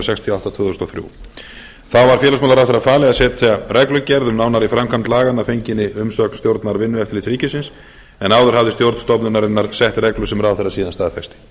sextíu og átta tvö þúsund og þrjú þá var félagsmálaráðherra falið að setja reglugerð um nánari framkvæmd laganna að fenginni umsögn stjórnar vinnueftirlits ríkisins en áður hafði stjórn stofnunarinnar sett reglu sem ráðherra síðan staðfesti